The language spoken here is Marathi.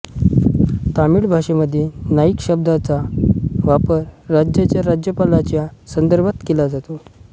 तमिळ भाषेमध्ये नाईक शब्दाचा वापर राज्याच्या राज्यपालाच्या संदर्भात केला जातो